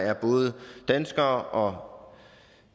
er både danskere og